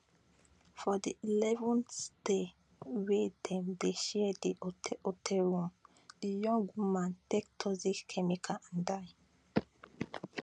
for di 11th day wey dem dey share di hotel hotel room di young woman take toxic chemical and die